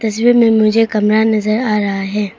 इसमें में मुझे कमरा नजर आ रहा है।